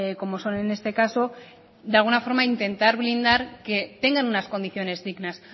como son en este caso de alguna forma intentar blindar que tengan unas condiciones dignas